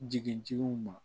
Jigin ma